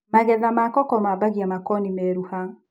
magetha ma koko mabagia makoni meruha.